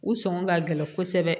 U sɔngɔ ka gɛlɛn kosɛbɛ